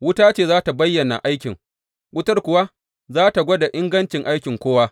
Wuta ce za tă bayyana aikin, wutar kuwa za tă gwada ingancin aikin kowa.